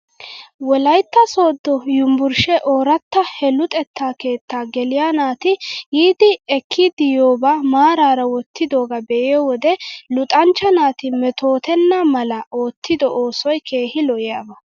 Wolaytta sooddo yumbburshee ooratta he luxetta keettaa geliyaa naati yiiddi ekkidi yiyoobaa maaraara wottidoogaa be'iyoo wode luxanchcha naati metootenna mala oottido oosoy keehi lo'iyaaba.